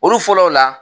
Olu fɔlɔw la